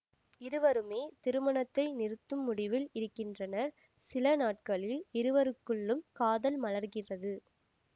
இருவருமே திருமணத்தை நிறுத்தும் முடிவில் இருக்கின்றனர் சில நாட்களில் இருவருக்குள்ளும் காதல் மலர்கிறது